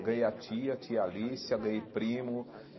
Ganhei a tia, a tia Alicia, ganhei primo.